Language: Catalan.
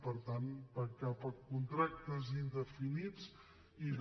per tant cap a contractes indefinits i de